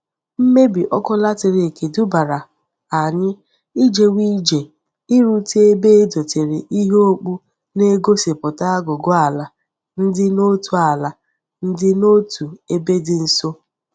Mmebi oku latrik dubara anyi ijewe ije irute ebe e dotere ihe okpu na-egosiputa agugu ala ndi n'otu ala ndi n'otu ebe di nso.